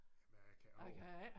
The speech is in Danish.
Nej jeg kan ikke huske det